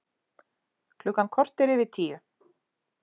Klukkan korter yfir tíu